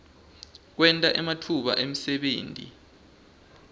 kwenta ematfuba emsebenti